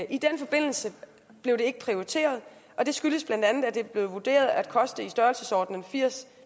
i den forbindelse blev det ikke prioriteret og det skyldes bla at det blev vurderet at koste i størrelsesordenen firs